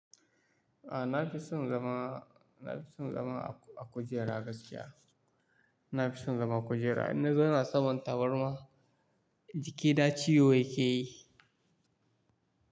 A na fi son zama, na fi son zama a a kujera gaskiya. Na fi son zama kujera, in na zauna saman tabarma jikina ciwo yake yi.